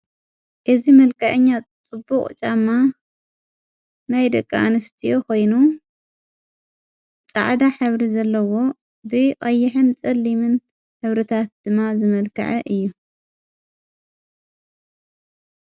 እዝ መልቀአኛ ጽቡቕ ጫማ ናይ ደቃኣንሽቲ ኾይኑ ፃዕዳ ኅብሪ ዘለዎ ጸሊምን ኅብሪ ታት ድማ ዝመልክዐ እዩ።